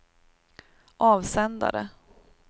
avsändare